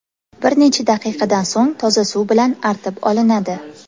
Bir necha daqiqadan so‘ng toza suv bilan artib olinadi.